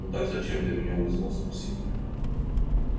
ну так зачем ты меня вызвал спросил я